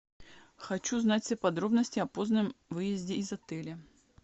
хочу знать все подробности о позднем выезде из отеля